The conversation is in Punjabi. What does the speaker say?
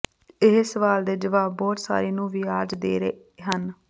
ਇਹ ਸਵਾਲ ਦੇ ਜਵਾਬ ਬਹੁਤ ਸਾਰੇ ਨੂੰ ਵਿਆਜ ਦੇ ਹਨ